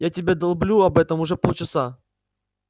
я тебе долблю об этом уже полчаса